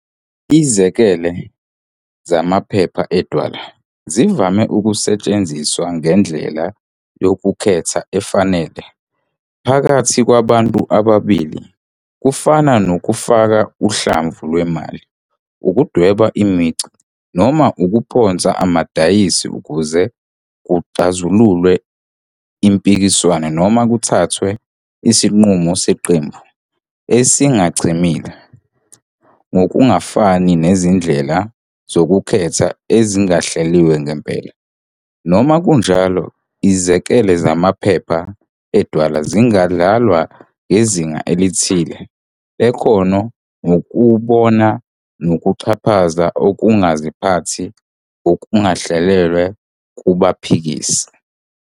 Izikele zamaphepha edwala zivame ukusetshenziswa njengendlela yokukhetha efanele phakathi kwabantu ababili, kufana nokufaka uhlamvu lwemali, ukudweba imicu, noma ukuphonsa amadayisi ukuze kuxazululwe impikiswano noma kuthathwe isinqumo seqembu esingachemile. Ngokungafani nezindlela zokukhetha ezingahleliwe ngempela, noma kunjalo, izikele zamaphepha edwala zingadlalwa ngezinga elithile lekhono ngokubona nokuxhaphaza ukungaziphathi okungahleliwe kubaphikisi.